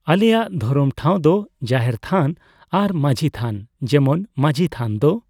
ᱟᱞᱮᱭᱟᱜ ᱫᱷᱚᱨᱚᱢ ᱴᱷᱟᱣ ᱫᱚ ᱡᱟᱦᱮᱨ ᱛᱷᱟᱱ ᱟᱨ ᱢᱟᱸᱡᱷᱤ ᱛᱷᱟᱱ ᱾ ᱡᱮᱢᱚᱱ ᱢᱟᱸᱡᱷᱤ ᱛᱷᱟᱱ ᱫᱚ